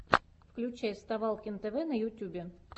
включай вставалкин тв на ютьюбе